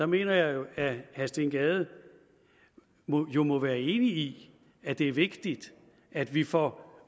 mener jeg at herre steen gade jo må være enig i at det er vigtigt at vi får